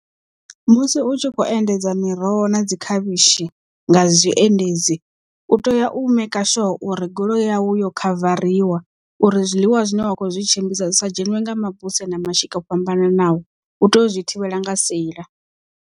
Musi u tshi kho endedza miroho na dzi khavhishi nga zwiendedzi u tea u maker sure uri goloi yawu yo khavariwa uri zwiḽiwa zwine wa kho zwi tshimbidza zwisa dzheṅwe nga mabuse na mashika o fhambananaho u tea u zwi thivhela nga seila.